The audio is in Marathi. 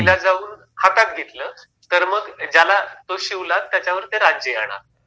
तिला हातात घेतलं, तर मग ज्याला तो शिवला त्याच्यावर ते राज्य येणार